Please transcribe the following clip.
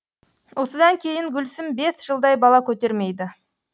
осыдан кейін гүлсім бес жылдай бала көтермейді